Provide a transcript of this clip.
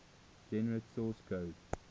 generate source code